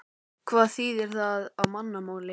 Hvað þýðir það á mannamáli?